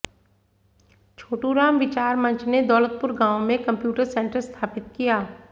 छोटूराम विचार मंच ने दौलतपुर गांव में कंप्यूटर सेंटर स्थापित किया